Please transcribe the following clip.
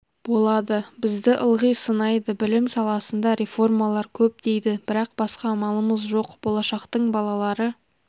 болады бізді ылғи сынайды білім саласында реформалар көп дейді бірақ басқа амалымыз жоқ болашақтың балалары